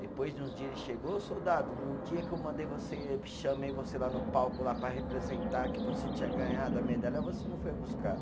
Depois de uns dias ele chegou, ô soldado, no dia que eu mandei você, chamei você lá no palco lá para representar que você tinha ganhado a medalha, você não foi buscar.